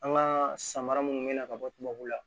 An ka samara minnu bɛ na ka bɔ tubabu la